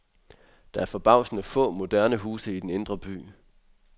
Der er forbavsende få moderne huse i den indre by.